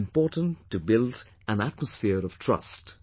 It is important to build an atmosphere of trust